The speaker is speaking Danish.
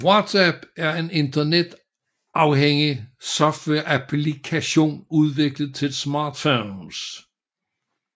WhatsApp er en internetafhængig softwareapplikation udviklet til smartphones